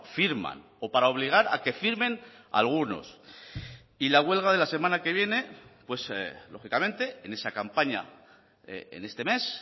firman o para obligar a que firmen algunos y la huelga de la semana que viene lógicamente en esa campaña en este mes